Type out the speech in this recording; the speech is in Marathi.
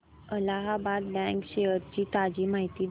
अलाहाबाद बँक शेअर्स ची ताजी माहिती दे